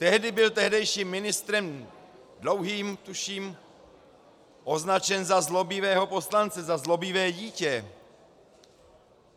Tehdy byl tehdejším ministrem Dlouhým, tuším, označen za zlobivého poslance, za zlobivé dítě.